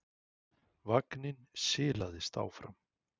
Vagninn silaðist áfram.